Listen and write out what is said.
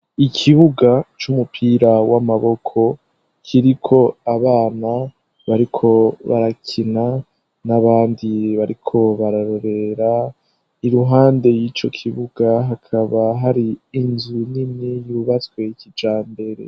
ikibuga c'umupira w'amaboko kiriko abana bariko barakina n'abandi bariko bararorera iruhande y'ico kibuga hakaba hari inzu nini yubatswe kijambere